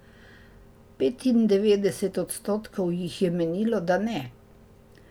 Petindevetdeset odstotkov jih je menilo, da ne.